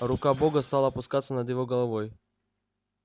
рука бога стала опускаться над его головой